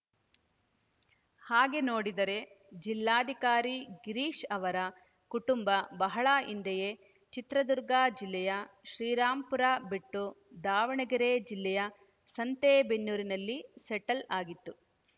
ಹಾಗೆ ನೋಡಿದರೆ ಜಿಲ್ಲಾಧಿಕಾರಿ ಗಿರೀಶ್‌ ಅವರ ಕುಟುಂಬ ಬಹಳ ಹಿಂದೆಯೇ ಚಿತ್ರದುರ್ಗ ಜಿಲ್ಲೆಯ ಶ್ರೀರಾಂಪುರ ಬಿಟ್ಟು ದಾವಣಗೆರೆ ಜಿಲ್ಲೆಯ ಸಂತೆಬೆನ್ನೂರಿನಲ್ಲಿ ಸೆಟ್ಲ್ ಆಗಿತ್ತು